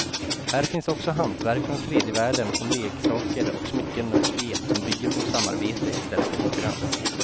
Här finns också hantverk från tredje världen som leksaker och smycken och spel som bygger på samarbete i stället för konkurrens.